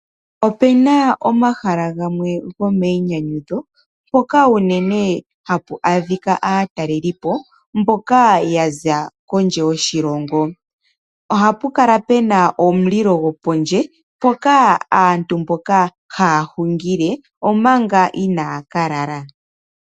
Opena omahala gamwe gomayinyanyudho mpoka uunene hapu adhika aatalelipo mboka yaza kondje yoshilongo. Ohapu kala puna omulilo gopondje mpoka aantu mboka haya hungile omanga inaya ka lala.